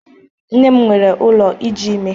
Nne m nwere ụlọ iji ime.